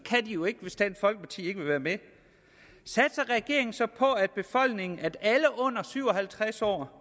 jo ikke hvis dansk folkeparti ikke vil være med satser regeringen så på at alle under syv og halvtreds år